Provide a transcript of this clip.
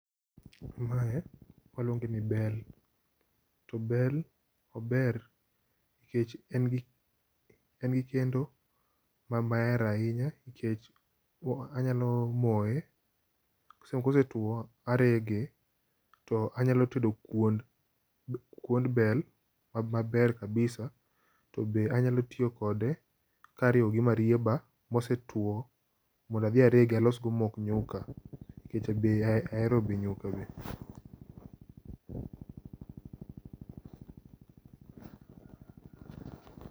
Waluonge ni bel to bel ober nikech en gi maber ahinya nikech anyalo moye kosetwo arege to anyalo tedo kuon ,kuon bel maber kabisa to be anyalo tiyo kode kariwo gi marieba mosetwo mondo adhi aregi adhi alos go mok nyuka nikech be ahero be nyuka be